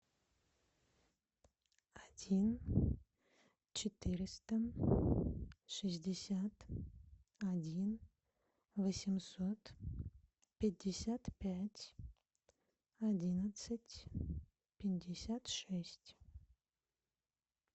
один четыреста шестьдесят один восемьсот пятьдесят пять одиннадцать пятьдесят шесть